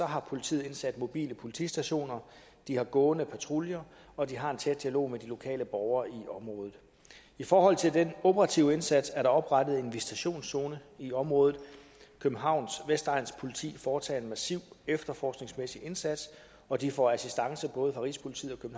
har politiet indsat mobile politistationer de har gående patruljer og de har en tæt dialog de lokale borgere i området i forhold til den operative indsats er der oprettet en visitationszone i området københavns vestegns politi foretager en massiv efterforskningsmæssig indsats og de får assistance både fra rigspolitiet